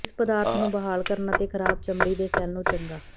ਇਹ ਪਦਾਰਥ ਨੂੰ ਬਹਾਲ ਕਰਨ ਅਤੇ ਖਰਾਬ ਚਮੜੀ ਦੇ ਸੈੱਲ ਨੂੰ ਚੰਗਾ